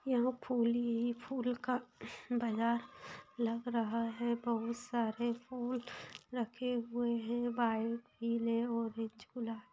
यहां फूल ही फूल का ह्म्म्म बाजार लग रहा है बहुत सारे फूल रखे हुए है व्हाइट पीले ऑरेंज गुला --